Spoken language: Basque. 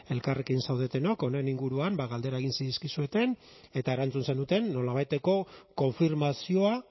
elkarrekin zaudetenok honen inguruan galdera egin zizkizuten eta erantzun zenuten nolabaiteko konfirmazioa